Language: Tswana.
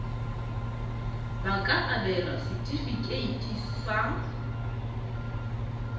ba ka abelwa setefikeiti sa